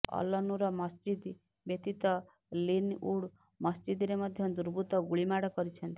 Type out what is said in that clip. Al Noor ମସଜିଦ ବ୍ୟତୀତ Linwood ମସଜିଦରେ ମଧ୍ୟ ଦୁବୃର୍ତ୍ତ ଗୁଳିମାଡ଼ କରିଛନ୍ତି